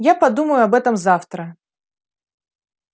я подумаю об этом завтра